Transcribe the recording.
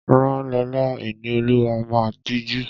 Rán Lọla! Ìníolúwa máa tijú.